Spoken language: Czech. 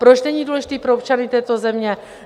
Proč není důležitý pro občany této země?